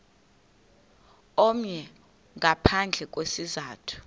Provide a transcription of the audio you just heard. omnye ngaphandle kwesizathu